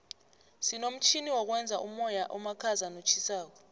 sinomtjhini wokwenza umoya omakhaza notjhisako